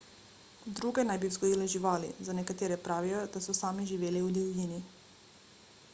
druge naj bi vzgojile živali za nekatere pravijo da so sami živeli v divjini